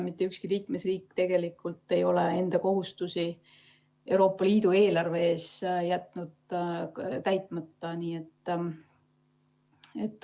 Mitte ükski liikmesriik tegelikult ei ole enda kohustusi Euroopa Liidu eelarve ees täitmata jätnud.